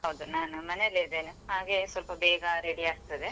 ಹೌದು ನಾನ್ ಮನೆಯಲ್ಲಿದ್ದೇನೆ ಹಾಗೆ ಸ್ವಲ್ಪ ಬೇಗ ready ಆಗ್ತದೆ.